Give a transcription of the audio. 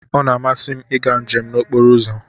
Ọ na-amasị m ịga njem n'okporo ụzọ.